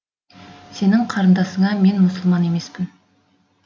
сенің қарындасыңа мен мұсылман емеспін